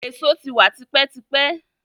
Èso ti wa tipẹ́ tipẹ́.